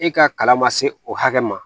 E ka kalan ma se o hakɛ ma